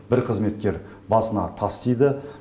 бір қызметкер басына тас тиді